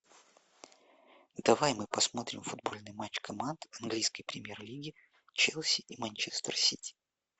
давай мы посмотрим футбольный матч команд английской премьер лиги челси и манчестер сити